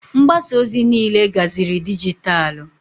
Mgbasa ozi niile gaziri dijitalụ.